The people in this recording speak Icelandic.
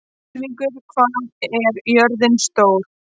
Ylfingur, hvað er jörðin stór?